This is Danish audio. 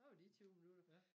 Der var de 20 minutter